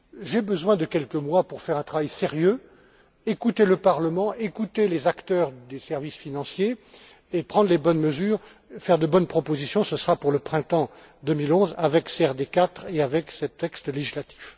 J'ai besoin de quelques mois pour faire un travail sérieux écouter le Parlement, écouter les acteurs des services financiers et prendre les bonnes mesures, faire de bonnes propositions. Ce sera pour le printemps 2011 avec CRD 4 et avec ces textes législatifs.